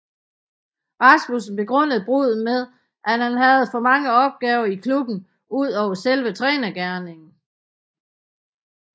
Rasmussen begrundede bruddet med at han havde for mange opgaver i klubben udover selve trænergerningen